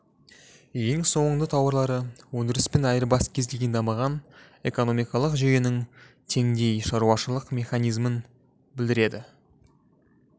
ең соңында тауарлы өндіріс пен айырбас кез келген дамыған экономикалық жүйенің теңдей шаруашылық механизмін білдіреді